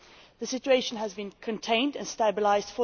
The situation has been contained and stabilised.